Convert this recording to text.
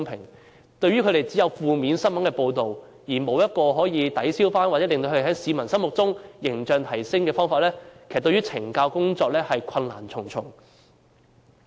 對懲教人員而言，只有負面的新聞報道，而沒有可以提升他們在市民心中形象的方法，令懲教工作困難重重。